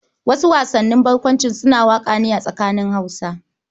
Wasu wasannin barkwancin suna wakana a tsakanin Hausawa.